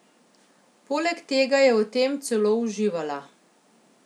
Poleg tega je v tem celo uživala.